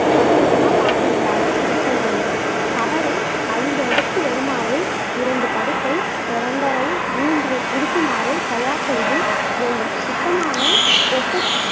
பத்து சம பாகங்களாக பிரித்தல் வேண்டும் கவரை ஐந்து அடுக்கு வருமாறு இரண்டு படுக்கை இரண்டரை மூன்று இருக்குமாறு தயார் செய்து வேண்டும் சுத்தமான எஸ். எஸ்.